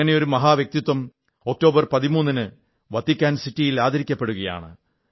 അങ്ങനെയൊരു മഹാവ്യക്തിത്വം ഒക്ടോബർ 13 ന് വത്തിക്കാൻ സിറ്റിയിൽ ആദരിക്കപ്പെടുകയാണ്